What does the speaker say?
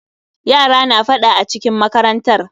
Yara na faɗa acikin makarantar.